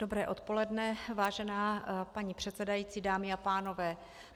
Dobré odpoledne, vážená paní předsedající, dámy a pánové.